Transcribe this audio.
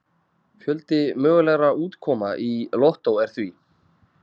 Fjöldi mögulegra útkoma í lottó er því